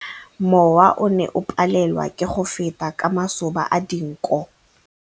Mowa o ne o palelwa ke go feta ka masoba a dinko.